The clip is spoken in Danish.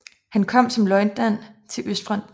Han kom som løjtnant til Østfronten